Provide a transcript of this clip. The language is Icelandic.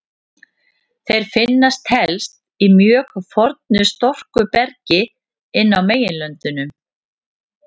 Þeir finnast helst í mjög fornu storkubergi inn á meginlöndum.